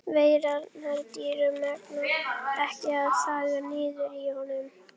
Veigarnar dýru megna ekki að þagga niður í honum.